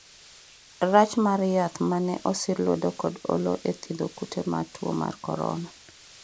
rach mar yath mane osir lwedo kod Oloo e thiedho kute ma tuo mar korona